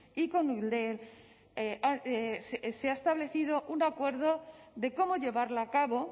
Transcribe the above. y con eudel se ha establecido un acuerdo de cómo llevarla a cabo